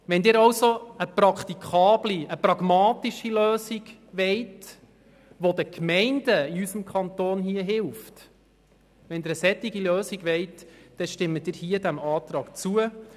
Wenn Sie also eine praktikable und pragmatische Lösung wollen, die den Gemeinden in unserem Kanton hilft, dann stimmen Sie diesem Antrag zu.